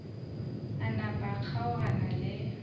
a napa a kgaogana le